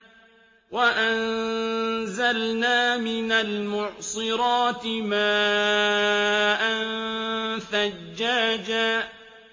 وَأَنزَلْنَا مِنَ الْمُعْصِرَاتِ مَاءً ثَجَّاجًا